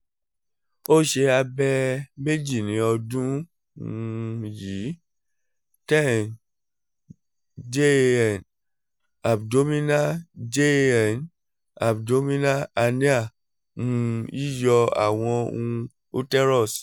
o ṣe abẹ meji ni ọdun um yii ten jan abdominal ten jan abdominal hernia um yiyọ awọn um uterus